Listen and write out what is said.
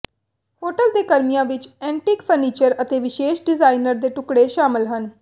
hotel ਦੇ ਕਮਰਿਆਂ ਵਿਚ ਐਂਟੀਕ ਫਰਨੀਚਰ ਅਤੇ ਵਿਸ਼ੇਸ਼ ਡਿਜ਼ਾਈਨਰ ਦੇ ਟੁਕੜੇ ਸ਼ਾਮਲ ਹਨ